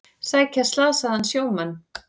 Sækja slasaðan sjómann